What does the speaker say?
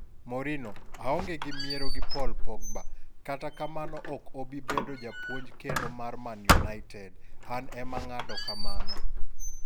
Mourinho: aonge miero gi Paul Pogba, Kata amano ok obi bedo japuonj kendo mar Man United, an ema ng'ado kamano.